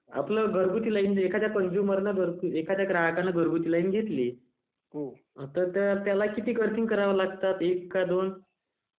आपल्या एखाद्या घरगुती कन्स्युमरने...ग्राहकाने घरगुती लाइन घेतली तर त्याला किती अर्थिंग करावे लागते एक का दोन..